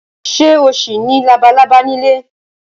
Ṣé o ṣì ní labalábá nílé?